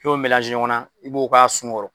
I b'o ɲɔgɔn na, i b'o k'a sun kɔrɔ.